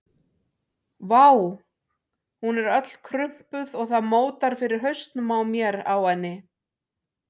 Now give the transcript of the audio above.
Vá, hún er öll krumpuð og það mótar fyrir hausnum á mér á henni.